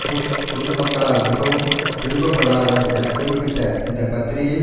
push பொது மக்களால் மிகவும் விரும்பப்படாதவர் என குறிப்பிட்ட இந்த பத்திரிகை